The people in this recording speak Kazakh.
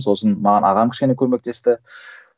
сосын маған ағам кішкене көмектесті